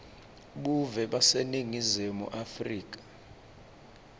buve baseningizimu afrika